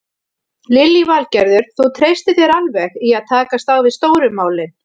Lillý Valgerður: Þú treystir þér alveg í að takast á við stóru málin?